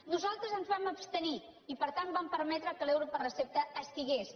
nosaltres ens vam abstenir i per tant vam permetre que l’euro per recepta estigués